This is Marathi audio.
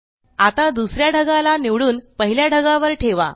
आता दुसऱ्या ढगाला निवडून पहिल्या ढगावर ठेवा